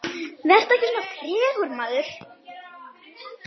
Vertu ekki svona tregur, maður!